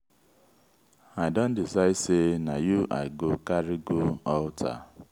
i don decide sey na you i go carry go altar.